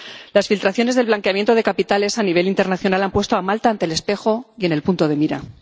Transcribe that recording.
Las filtraciones del blanqueamiento de capitales a nivel internacional han puesto a Malta ante el espejo y en el punto de mira.